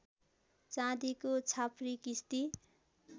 चाँदीको छाप्री किस्ती